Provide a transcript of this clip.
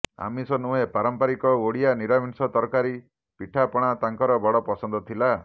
ଆମିଷ ନୁହେଁ ପାରମ୍ପରିକ ଓଡ଼ିଆ ନିରାମିଷ ତରକାରୀ ପିଠା ପଣା ତାଙ୍କର ବଡ଼ ପସନ୍ଦ ଥିଲା